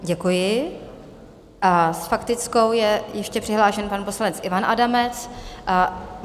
Děkuji a s faktickou je ještě přihlášen pan poslanec Ivan Adamec.